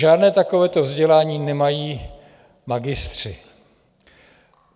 Žádné takovéto vzdělání nemají magistři.